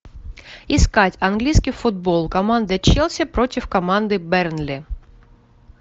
искать английский футбол команда челси против команды бернли